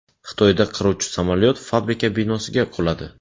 Xitoyda qiruvchi samolyot fabrika binosiga quladi.